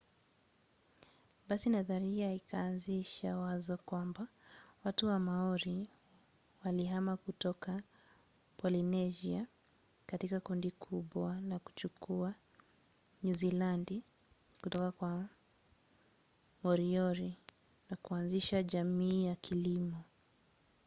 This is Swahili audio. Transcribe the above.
basi nadharia ikaanzisha wazo kwamba watu wa maori walihama kutoka polynesia katika kundi kubwa na kuchukua nyuzilandi kutoka kwa moriori na kuanzisha jamii ya kilimo